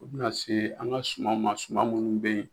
O be na se an ga sumaw ma suma munnu be yen